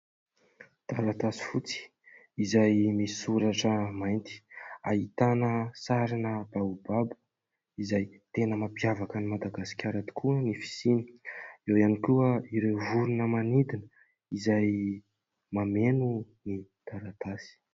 Taratasy fotsy izay misoratra mainty, ahitana sarina baobabo. Izay tena mampiavaka an'i Madagasikara tokoa ny fisiany ; eo ihany koa ireo vorona manidina izay mameno ny taratasy.